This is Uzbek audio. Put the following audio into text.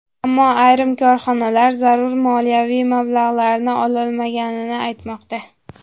Ammo ayrim korxonalar zarur moliyaviy mablag‘larni ololmaganini aytmoqda.